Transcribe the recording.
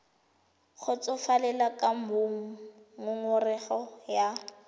kgotsofalele ka moo ngongorego ya